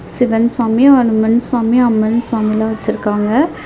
சிவன் சாமி ஒரு மென் சாமி அம்மன் சாமிலா வச்சிருக்காங்க.